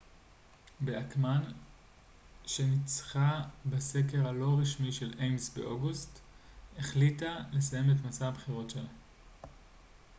באכמאן שניצחה בסקר הלא רשמי של איימז באוגוסט החליטה לסיים את מסע הבחירות שלה